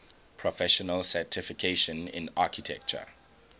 professional certification in architecture